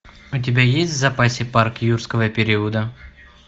у тебя есть в запасе парк юрского периода